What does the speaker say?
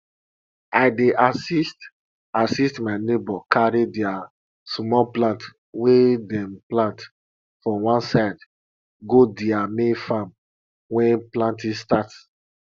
i dey assist assist my neighbor carry their small plants wey dem plant for one side go their main farm wen planting start